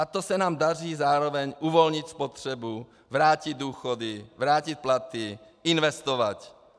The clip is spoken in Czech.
A to se nám daří zároveň uvolnit spotřebu, vrátit důchody, vrátit platy, investovat.